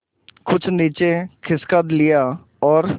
कुछ नीचे खिसका लिया और